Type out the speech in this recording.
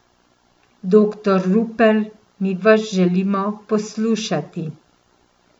Doktor Rupel, mi vas želimo poslušati.